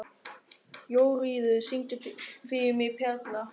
Jóríður, syngdu fyrir mig „Perla“.